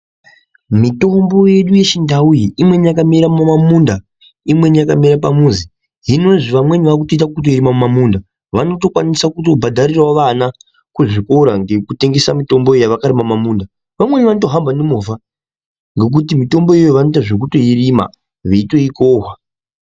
Mitombo yedu yechindau iyi imweni yakamera mumamunda imweni yakamera pamuzi hinozve vamweni vaakutoita kutoirima mumamunda vanotokwanisao kutobhadharirao vana kuzvikora ngekutengesa mitombo yavakarima mumamunda vamweni vanotohamba nemovha ngekuti mitombo iyi vanotoita zvekutoirima veitoikohwa.